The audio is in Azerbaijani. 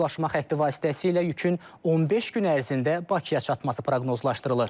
Bu daşıma xətti vasitəsilə yükün 15 gün ərzində Bakıya çatması proqnozlaşdırılır.